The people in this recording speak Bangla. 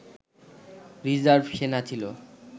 রিজার্ভ সেনা ছিল